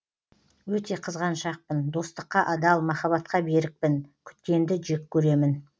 өте қызғаншақпын достыққа адал махаббатқа берікпін күткенді жек көремін